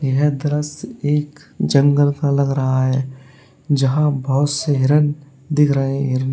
यह दृश्य एक जंगल का लग रहा है जहां बहोत से हिरन दिख रहे हिरनो--